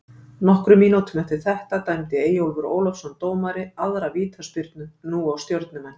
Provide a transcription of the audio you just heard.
Nokkrum mínútum eftir þetta dæmdi Eyjólfur Ólafsson dómari aðra vítaspyrnu, nú á Stjörnumenn.